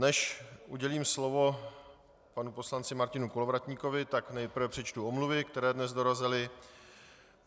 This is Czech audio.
Než udělím slovo panu poslanci Martinu Kolovratníkovi, tak nejprve přečtu omluvy, které dnes dorazily.